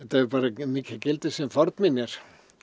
hefur bara mikið gildi sem fornminjar